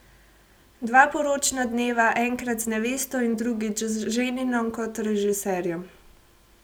Dva poročna dneva, enkrat z nevesto in drugič z ženinom kot režiserjem.